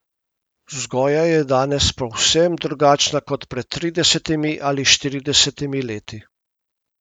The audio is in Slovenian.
Vzgoja je danes povsem drugačna kot pred tridesetimi ali štiridesetimi leti.